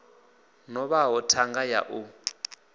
no vhaho thanga ya u